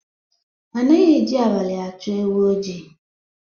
Anaghị eji abalị achọ ewu oji